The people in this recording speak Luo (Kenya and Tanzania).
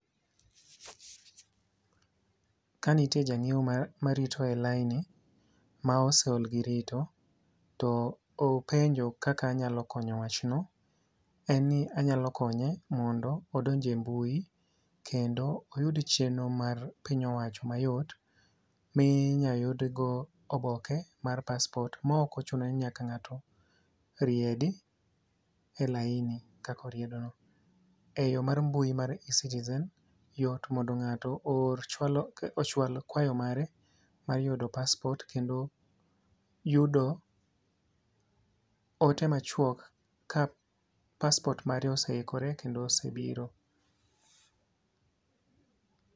Kanitie ja ng'iew marito e laini ma ose ol girito to openjo kaka anyalo konyo wach no. En ni anyalo konye mondo odonj e mbui kendo oyud chenro mar piny owacho mayot minya yud go oboke mar paspot mok ochuno ni nyaka ng'ato riedi e laini kaka oriedo no. E yo mar mbui mar e-citizen yot mondo ng'ato ochwal kwayo mare mar yudo paspot kendo yudo ote machwok ka paspot mare ose ikore kendo ose biro.